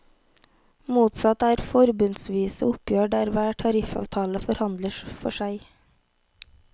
Motsatt er forbundsvise oppgjør der hver tariffavtale forhandles for seg.